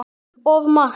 Of margt.